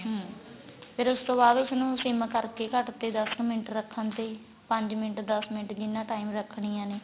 ਹਮ ਫੇਰ ਉਸ ਤੋਂ ਬਾਅਦ ਉਸ ਨੂੰ ਸਿਮ ਕਰਕੇ ਘੱਟ ਤੇ ਦੱਸ ਮਿੰਟ ਰੱਖਣ ਤੇ ਈ ਪੰਜ ਮਿੰਟ ਦੱਸ ਮਿੰਟ ਕਿੰਨਾ time ਰਖਣੀਆਂ ਨੇ